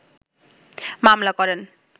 মামলা করেন